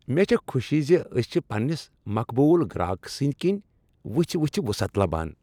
مےٚ چھےٚ خوشی ز أسۍ چھ پننس مقبول گرٛاکھ سنٛدۍ کِنۍ وُژھٕ وُژھٕ وسعت لبان۔